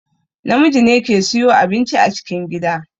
Namiji ne ke siyo abinci a cikin gida